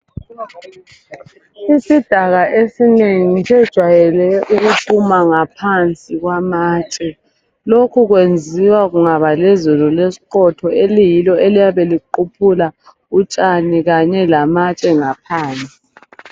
Isidaka esinengi sijwayeleke ukuphuma ngaphansi kwamatshe, lokhu kuyenziwa kungaba lezulu lesiqotho eliyilo eliyabe liquphula utshani kanye lamatshe ngaphansi.